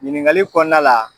Ɲiniŋali kɔɔnla la